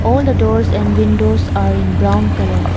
all the doors are windows in brown colour.